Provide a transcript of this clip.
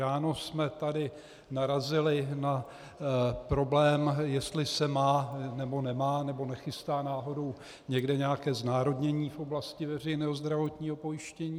Ráno jsme tady narazili na problém, jestli se má, nebo nemá, nebo nechystá náhodou někde nějaké znárodnění v oblasti veřejného zdravotního pojištění.